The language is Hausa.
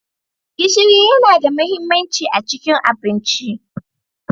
Gishiri yana da mahimmanci a cikin abinci.